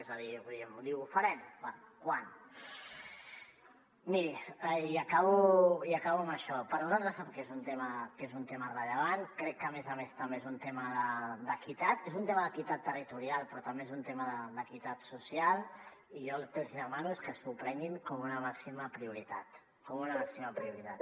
és a dir em diu ho farem bé quan miri i acabo amb això per nosaltres sap que és un tema rellevant crec que a més a més també és un tema d’equitat és un tema d’equitat territorial però també és un tema d’equitat social i jo el que els hi demano és que s’ho prenguin com una màxima prioritat com una màxima prioritat